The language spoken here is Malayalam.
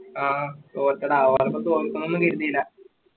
ആ തോറ്റെട അവരൊന്നും തോൽക്കൊന്നും കരുതില്ല